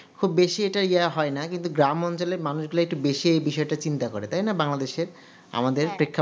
খুব বেশি কিন্তু ইয়ে হয় না কিন্তু গ্রাম অঞ্চলে কিন্তু মানুষগুলো একটু বেশি এইবিষয়গুলো চিন্তা করে তাই না banglades আমাদের